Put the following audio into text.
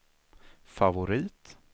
favorit